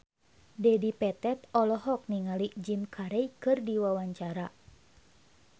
Dedi Petet olohok ningali Jim Carey keur diwawancara